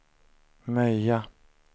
Möja